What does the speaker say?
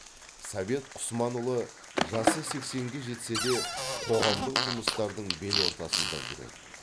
совет құсманұлы жасы сексенге жетсе де қоғамдық жұмыстардың бел ортасында жүреді